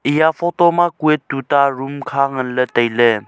eya photo ma kue tuta room kha nganley tailey.